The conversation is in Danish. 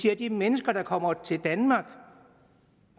at de mennesker der kommer til danmark